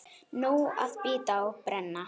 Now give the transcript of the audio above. Nóg að bíta og brenna.